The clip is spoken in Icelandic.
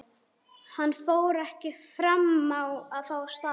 Hann fór ekki framá að fá stafinn.